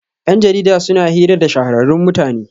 Yan jarida suna hira da shahararrun mutane